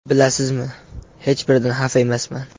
Bilasizmi, hech biridan xafa emasman.